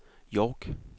York